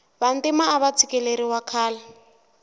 vantima ava tshikeleriwa khale